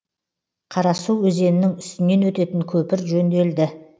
қарасу өзенінің үстінен өтетін көпір жөнделді